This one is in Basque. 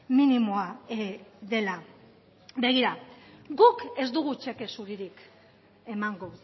minimoa dela begira guk ez dugu txeke zuririk emango